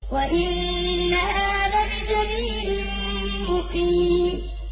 وَإِنَّهَا لَبِسَبِيلٍ مُّقِيمٍ وَإِنَّهَا لَبِسَبِيلٍ مُّقِيمٍ